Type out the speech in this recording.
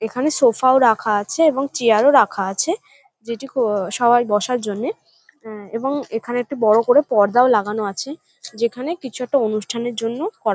এখানে সোফা -ও রাখা আছে এবং চেয়ার -ও রাখা আছে যেটি কো ও সবাই বসার জন্যে আ এবং এখানে একটি বড়ো করে পর্দা ও লাগানো আছে যেখানে কিছু একটা অনুষ্ঠানের জন্য করা।